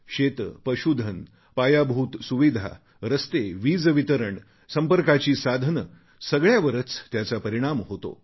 शेते पशूधन पायाभूत सुविधा रस्ते वीजवितरण संपर्काची साधने सगळ्यावरच त्याचा परिणाम होतो